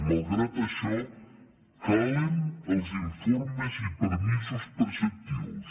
malgrat això calen els informes i permisos preceptius